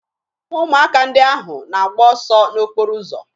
Ụmụaka ndị ahụ na-agba ọsọ n'okporo ụzọ